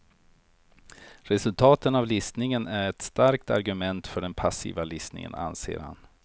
Resultaten av listningen är ett starkt argument för den passiva listningen, anser han.